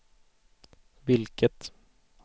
vilket